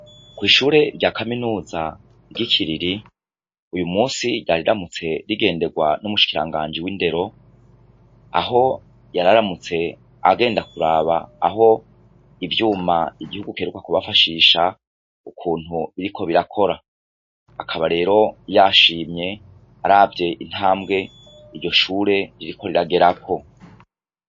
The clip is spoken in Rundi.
Kwishure rya Kaminuza ryikiriri uyumusi ryari ryaramutse rigenderwa numushikirangaji w'indero aho yararamutse agenda kuraba aho ivyuma bahawe ukuntu biriko irakora akaba rero yashimye aravye intambwe iryo shure ririko riragerako.